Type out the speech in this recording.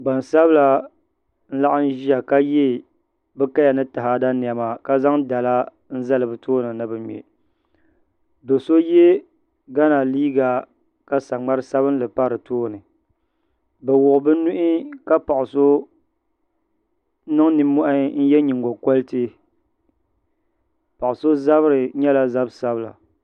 Gbansabila n laɣam ʒiya ka yɛ bi kaya ni taada niɛma ka zaŋ dala n zali bi tooni ni bi ŋmɛ do so yɛ gana liiga ka saŋmari sabinli pa di tooni bi wuhi bi nuhi ka paɣa so niŋ nimmohi n yɛ nyingokoriti paɣa so zabiri nyɛla zabi sabila